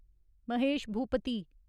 Mahesh Bhupathi